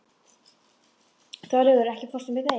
Þorlaugur, ekki fórstu með þeim?